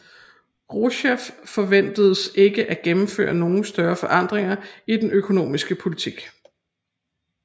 Rouseff forventedes ikke at gennemføre nogle større forandringer i den økonomiske politik